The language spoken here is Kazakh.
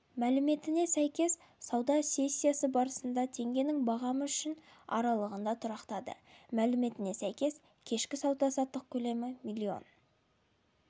мәліметіне сәйкес сауда сессиясы барысында теңгенің бағамы үшін аралығында тұрақтады мәліметіне сәйкес кешкі сауда-саттық көлемі миллион